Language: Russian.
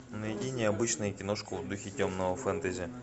найди необычную киношку в духе темного фэнтези